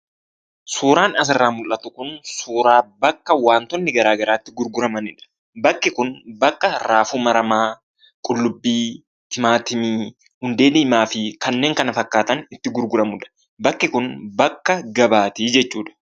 Suuraan asirraa mul'atu kun suuraa bakka wantoonni garaagaraa itti gurguramaniidha. Bakki kun bakka raafuu maramaa, qullubbii, timaatimii, hundee diimaa fi kanneen kana fakkaatan itti gurguramudha. Bakki kun bakka gabaati jechuudha.